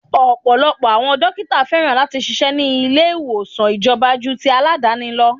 Ọ̀pọ̀lọpọ̀ àwọn dókítà féràn láti ṣíṣe ni ilé ìwòsàn ìjọba ju ti Aládàáni lọ.